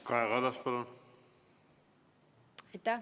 Kaja Kallas, palun!